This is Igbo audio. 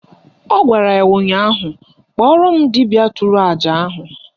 Ọ gwara ya ụnyaahụ "Kpọrọ m dibịa tụrụ àjà ahụ"!